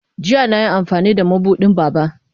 Jiya na yi amfani da mabuɗin Baba.